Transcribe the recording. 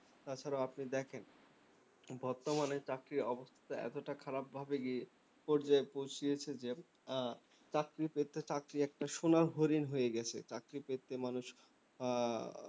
তাছাড়াও আপনি দেখুন বর্তমানে চাকরির অবস্থা এতোটা খারাপ ভাবে গিয়ে পর্যায় পৌঁছেছে যে চাকরি পেতে চাকরি একটা সোনার হরিণ হয়ে গেছে চাকরি পেতে মানুষ আহ